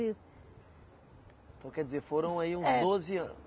Então quer dizer, foram aí uns doze anos.